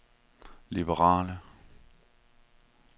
liberale